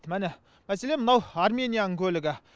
міні мәселен мынау арменияның көлігі